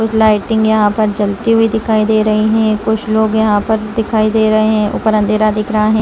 कुछ लाइटिंग यहाँ पे जलती हुई दिखाई दे रही है कुछ लोग यहाँ दिखाई दे रहे है ऊपर अँधेरा दिख रहा है।